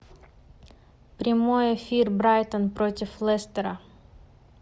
прямой эфир брайтон против лестера